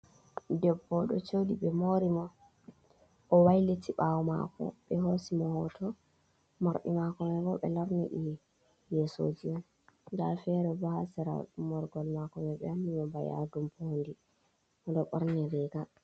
Debbo odo jodi be mori mo, o wailiti bawo mako be hosi mo hoto, mardi mako mai o be lornidi yesoji, dal fere bo ha sera morgol mako mai be wanni dum bana yadu bodi, odo borni riga.